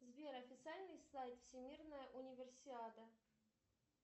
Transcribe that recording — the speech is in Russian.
сбер официальный сайт всемирная универсиада